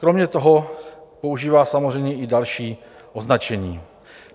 Kromě toho používá samozřejmě i další označení.